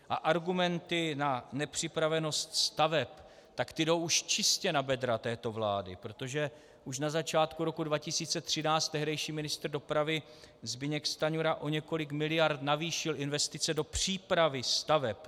A argumenty na nepřipravenost staveb, tak ty jdou už čistě na bedra této vlády, protože už na začátku roku 2013 tehdejší ministr dopravy Zbyněk Stanjura o několik miliard navýšil investice do přípravy staveb.